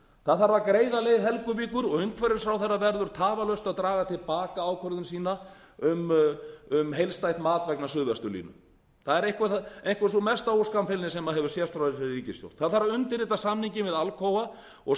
það þarf að greiða leið helguvíkur og umhverfisráðherra verður tafarlaust að draga til baka ákvörðun sína um heildstætt mat vegna suðvesturlínu það er einhver sú mesta óskammfeilni sem hefur sést hjá þessari ríkisstjórn það þarf að undirrita samninginn við alcoa og